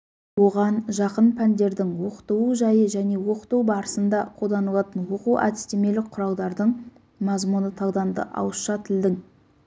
оған жақын пәндердің оқытылу жайы және оқыту барысында қолданылатын оқу-әдістемелік құралдардың мазмұны талданды ауызша тілдің